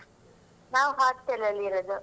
ನಾವ್ hostel ಅಲ್ಲಿ ಇರುದು.